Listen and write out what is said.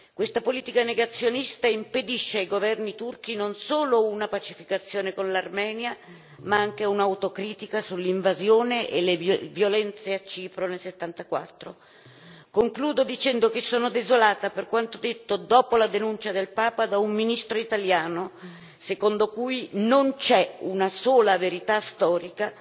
Questa politica negazionista impedisce ai governi turchi non solo una pacificazione con l'Armenia, ma anche un'autocritica sull'invasione e le violenze a Cipro nel 1974. Concludo, dicendo che sono desolata per quanto detto dopo la denuncia del Papa da un ministro italiano, secondo cui non c'è una sola verità storica